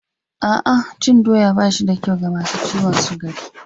A'a, cin doya ba shi da kyau ga masu ciwon sukari